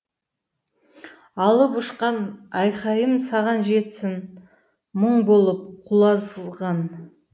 алып ұшқанайқайымсаған жетсін мұң болып құазылған